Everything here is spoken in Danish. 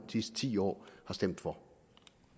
sidste ti år har stemt for